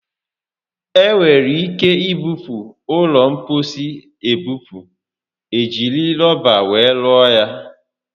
Enwere ike ibupu ụlọ mposi a ebupu. E jiri rọba were rụọ ya